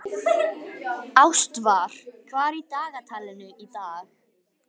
Ástvar, hvað er í dagatalinu í dag?